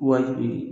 Wa bi